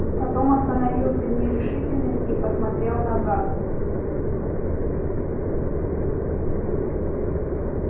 потом остановился в нерешительности и посмотрел назад